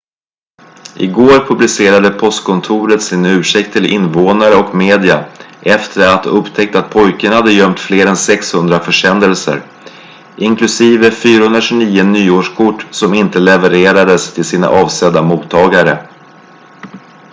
i går publicerade postkontoret sin ursäkt till invånare och media efter att ha upptäckt att pojken hade gömt fler än 600 försändelser inklusive 429 nyårskort som inte levererades till sina avsedda mottagare